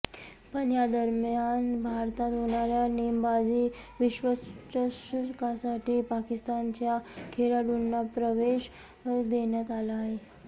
पण या दरम्यान भारतात होणार्या नेमबाजी विश्वचषकासाठी पाकिस्तानच्या खेळाडूंना प्रवेश देण्यात आला आहे